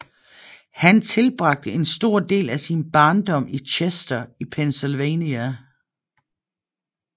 Han tilbragte en stor del af sin barndom i Chester i Pennsylvania